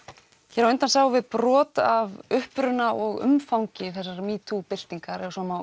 hér á undan sáum við brot af uppruna og umfangi þessarar metoo byltingar ef svo má